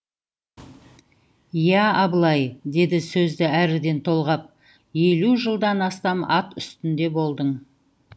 иә абылай деді сөзді әріден толғап елу жылдан астам ат үстінде болдың